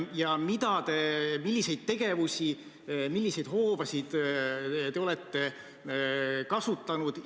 Ja milliseid tegevusi, milliseid hoobasid te olete kasutanud?